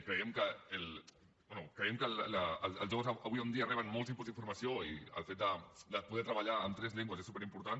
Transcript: creiem que bé els joves avui en dia reben molts inputs d’informació i el fet de poder treballar en tres llengües és superimportant